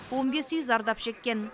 он бес үй зардап шеккен